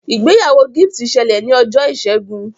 ìgbéyàwó Gift ṣẹlẹ ní Ọjọ́ Ìsẹ́gun.